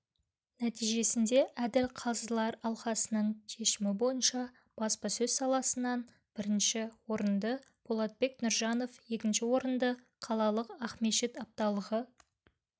нәтижесінде әділ қазылар алқасының шешімі бойынша баспасөз салысынан бірінші орындыболатбек нұржанов екінші орынды қалалық ақмешіт апталығы